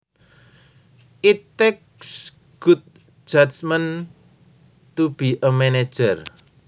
It takes good judgment to be a manager